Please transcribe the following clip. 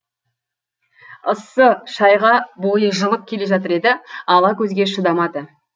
ыссы шайға бойы жылып келе жатыр еді ала көзге шыдамады